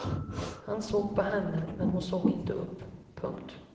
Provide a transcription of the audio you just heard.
Han såg på henne men hon såg inte upp. punkt